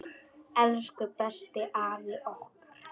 Elsku besti afi okkar.